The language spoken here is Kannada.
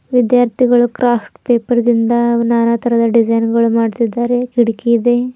ವಿದ್ಯಾರ್ಥಿಗಳು ಕ್ರಾಫ್ಟ್ ಪೇಪರ್ ದಿಂದ ನಾನಾ ತರದ ಡಿಸೈನ್ ಗಳು ಮಾಡುತ್ತಿದ್ದಾರೆ ಕಿಟಕಿ ಇದೆ.